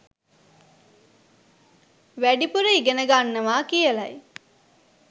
වැඩිපුර ඉගෙන ගන්නවා කියලයි.